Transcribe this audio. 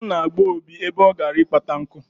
Aṅụ na-agba Obi ebe ọ gara ịkpata nku.